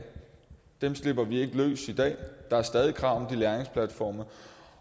dem slipper vi ikke i dag der er stadig krav om de læringsplatforme